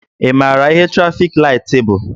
Ị maara ihe trafik laịtị bụ?